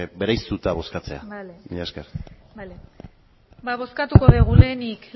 bereiztuta bozkatzea mila esker bale ba bozkatuko dugu lehenik